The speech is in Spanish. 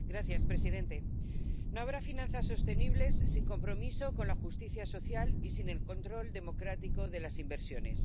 Señor presidente, no habrá finanzas sostenibles sin compromiso con la justicia social y sin el control democrático de las inversiones.